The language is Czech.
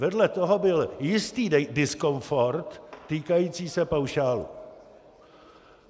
Vedle toho byl jistý diskomfort týkající se paušálu.